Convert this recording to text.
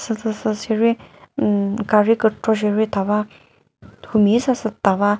sheri umm gari kükro sheri thava humi züsa sü tava.